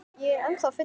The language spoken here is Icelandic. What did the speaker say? Ég er ennþá fullur.